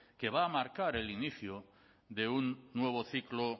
que va a marcar el inicio de un nuevo ciclo